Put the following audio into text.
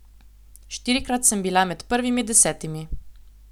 Štirikrat sem bila med prvimi desetimi.